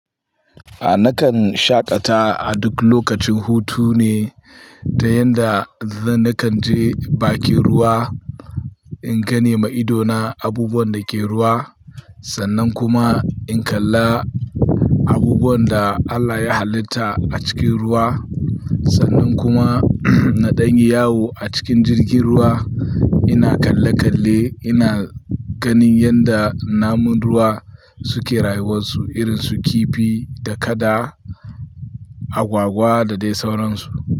A nakan shaƙata a duk lokacin hutu ne, da yanda zan nakan je bakin ruwa in gane ma ido na abubuwan dake ruwa sannan kuma in kalla abubuwan da Allah ya hallita a cikin ruwa sannan kuma na danyi yawo a cikin jirgin ruwa ina kalle kalle ina ganin yanda namun ruwa suke rayuwar su irin su kifi da kada agwagwa da dai sauransu.